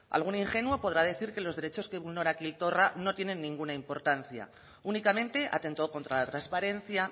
algún ingenuo podrá decir que los derechos que vulnera quim torra no tienen ninguna importancia únicamente atenta contra la transparencia